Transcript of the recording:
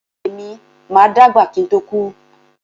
Èmi máa dàgbà kí ń tó kú.